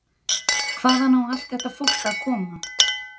Hvaðan á allt þetta fólk að koma?